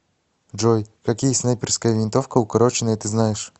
джой какие снайперская винтовка укороченная ты знаешь